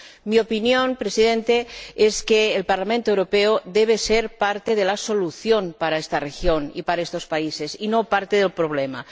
Mi opinión, señor Presidente, es que el Parlamento Europeo debe ser parte de la solución para esta región y para estos países, y no parte del problema.